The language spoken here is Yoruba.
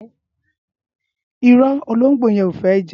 Ïrõ, ológbó yen o fé je?